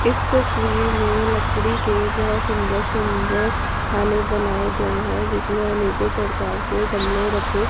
इस तस्वीर मे लकड़ी के बहोत सुंदर सुंदर खाने बनाए गए है जिसमें अनेको प्रकार के गमले रखे--